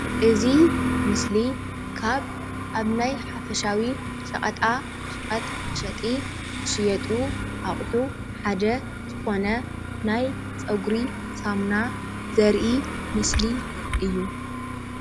እዚ ምስሊ ካብ ኣብ ናይ ሓፈሻዊ ሸቀጣ ሸቀጥ መሸጢ ዝሽየጡ ኣቅሑ ሓደ ዝኮነ ናይ ፀጉሪ ሳሙና ዘርኢ ምስሊ እዩ